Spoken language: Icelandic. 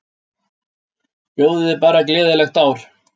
Bjóðiði bara gleðilegt ár.